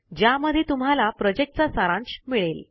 ज्यामध्ये तुम्हाला प्रोजेक्ट चा सारांश मिळेल